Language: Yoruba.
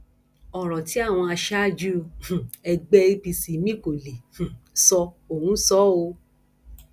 ọrọ tí àwọn aṣáájú um ẹgbẹ apc míín kò lè um sọ òun sọ ọ o